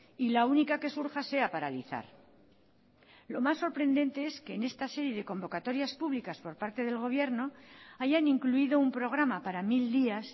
y la única que surja sea paralizar lo más sorprendente es que en esta serie de convocatorias públicas por parte del gobierno hayan incluido un programa para mil días